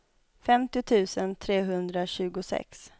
femtio tusen trehundratjugosex